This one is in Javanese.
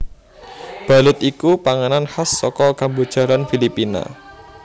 Balut iku panganan khas saka Kamboja lan Filipina